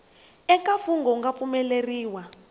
eka mfungho wu nga pfumeleriwa